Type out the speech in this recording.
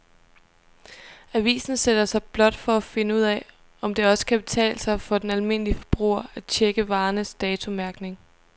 Avisen sætter sig blot for at finde ud af, om det også kan betale sig for den almindelige forbruger at checke varernes datomærkning.